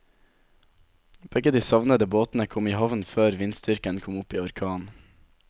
Begge de savnede båtene kom i havn før vindstyrken kom opp i orkan.